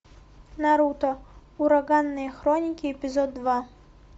наруто ураганные хроники эпизод два